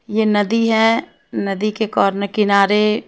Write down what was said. ये नदी है। नदी के किनारे--